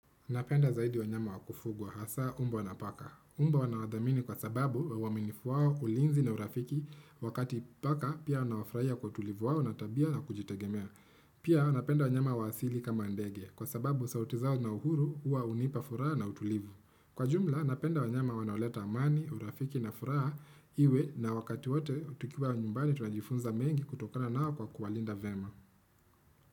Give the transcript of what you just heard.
Napenda zaidi wanyama wa kufugwa, hasa mbwa na paka. Mbwa nawadhamini kwa sababu wa uaminifu wao, ulinzi na urafiki wakati paka, pia nawafurahia kwa utulivu wao na tabia na kujitegemea. Pia, napenda wanyama wa asili kama ndege, kwa sababu sauti zao na uhuru, huwa hunipa furaha na utulivu. Kwa jumla, napenda wanyama wanaoleta amani, urafiki na furaha iwe na wakati wote tukiwa nyumbani tunajifunza mengi kutokana nao kwa kuwalinda vema.